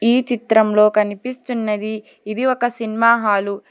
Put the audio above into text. ఈ చిత్రం లో కనిపిస్తున్నది ఇది ఒక సినిమా హాలు .